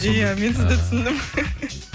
иә мен сізді түсіндім